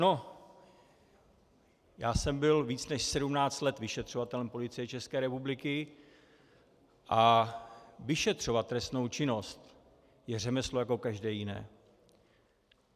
No, já jsem byl víc než 17 let vyšetřovatelem Policie České republiky a vyšetřovat trestnou činnost je řemeslo jako každé jiné.